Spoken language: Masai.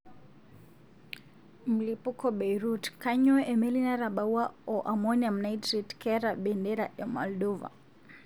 Mlipuko Beirut:kanyio emeli natabawua o Amonium Nitrate keta Bendera e Moldova?